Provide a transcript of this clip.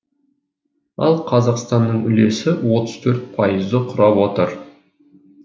ал қазақстанның үлесі отыз төрт пайызды құрап отыр